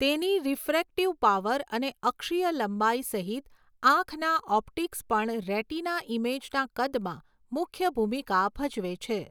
તેની refractive power અને અક્ષીય લંબાઈ સહિત આંખના ઓપ્ટિક્સ પણ રેટિના ઇમેજના કદમાં મુખ્ય ભૂમિકા ભજવે છે.